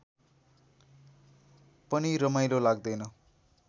पनि रमाइलो लाग्दैन